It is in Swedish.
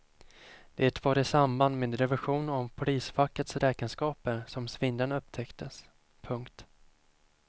Det var i samband med revision av polisfackets räkenskaper som svindeln upptäcktes. punkt